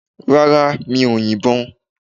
Rárá, mi o yin bo